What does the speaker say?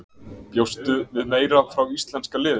Bjóstu við meira frá íslenska liðinu?